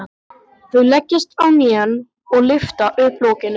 Þau leggjast á hnén og lyfta upp lokinu.